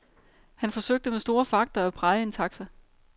Han forsøgte med store fagter at praje en taxa.